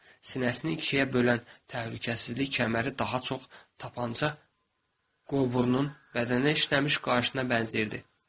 Sinəsini ikiyə bölən təhlükəsizlik kəməri daha çox tapança qovurunun bədənə işləmiş qarşına bənzirdi.